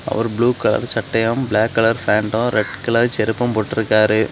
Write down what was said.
அவரு blue colour சட்டையும் black colour pant red colour செருப்பு போட்டு இருக்காரு.